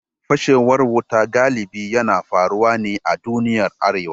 Fashewar wuta galibi yana faruwa ne a duniyar Arewa.